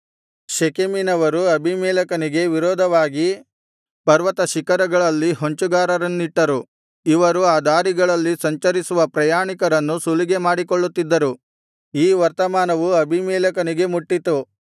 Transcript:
ಶೆಕೆಮಿನವರು ಅಬೀಮೆಲೆಕನಿಗೆ ವಿರೋಧವಾಗಿ ಪರ್ವತಶಿಖರಗಳಲ್ಲಿ ಹೊಂಚುಗಾರರನ್ನಿಟ್ಟರು ಇವರು ಆ ದಾರಿಗಳಲ್ಲಿ ಸಂಚರಿಸುವ ಪ್ರಯಾಣಿಕರನ್ನು ಸುಲಿಗೆ ಮಾಡಿಕೊಳ್ಳುತ್ತಿದ್ದರು ಈ ವರ್ತಮಾನವು ಅಬೀಮೆಲೆಕನಿಗೆ ಮುಟ್ಟಿತು